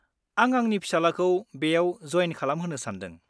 आं आंनि फिसालाखौ बेयाव जयेन खालामहोनो सानदों।